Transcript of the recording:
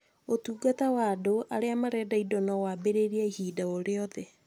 Ũtungata wa andũ arĩa marenda indo no wambĩrĩrie ihinda o rĩothe,